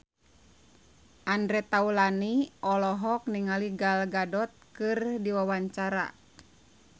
Andre Taulany olohok ningali Gal Gadot keur diwawancara